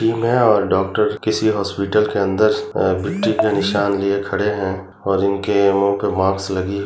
यह डॉक्टर्स जो किसी हॉस्पिटल के अंदर विक्ट्री का निशान लिए खड़े है और इनके मुँह में मास्क लगे हुए है।